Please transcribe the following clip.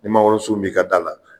Ni mangoro sun b'i ka da la